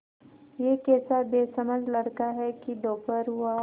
यह कैसा बेसमझ लड़का है कि दोपहर हुआ